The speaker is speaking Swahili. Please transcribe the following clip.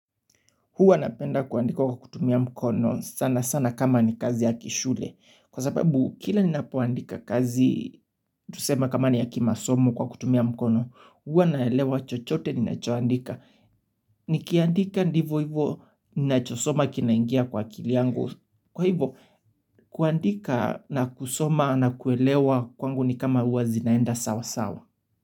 Huwa napenda kuandika kwa kutumia mkono sana sana kama ni kazi ya kishule. Kwa sababu kila ninapo andika kazi, tusema kama ni ya kimasomo kwa kutumia mkono. Hua naelewa chochote ninachoandika. Nikiandika ndivo hivo, ninachosoma kinaingia kwa akili yangu. Kwa hivo, kuandika na kusoma na kuelewa kwangu ni kama hua zinaenda sawa sawa.